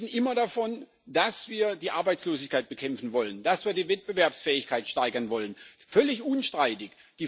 Wir reden immer davon, dass wir die Arbeitslosigkeit bekämpfen wollen, dass wir die Wettbewerbsfähigkeit steigern wollen völlig unstreitig.